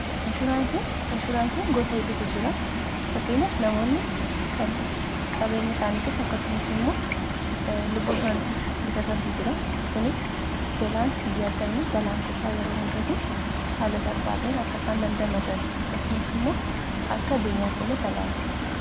inshuuraansiin gosa hidutu jira fakkeenyaf namoonni kan qabeenya isaanitiif akkasumas immoo lubbuu saantiif bitatantu jira kunis belaan hiyya'addani balaan tasaa yeroo mudatu haala salphaa ta'een akka isaan dandamatan akkasumas immoo akka beenyaatti illee isa ilaalu